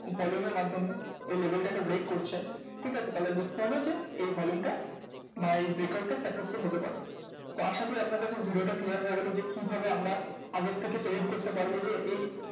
Volume এর মাধ্যমে এই level টাকে break করছে ঠিক আছে তাহলে বুঝতে হবে যে, এই হজমটা বা এই break out টা successful হতে পারে। তো আশা করি আপনার কাছে video টা clear হয়ে গেলো যে, কি ভাবে আমরা আগের থেকে predict করতে পারবো যে, এই